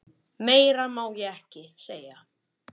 Meira má ég ekki segja.